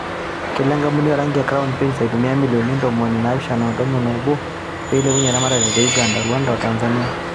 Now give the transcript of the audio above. Kelo enkampuni o rangi e crown paints aitumia milioni ntomoni naapishana o tomon o obo peilepunye eramatare te Uganda, Rwanda o Tanzania.